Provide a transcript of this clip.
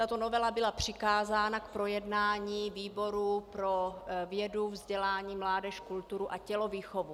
Tato novela byla přikázána k projednání výboru pro vědu, vzdělání, mládež, kulturu a tělovýchovu.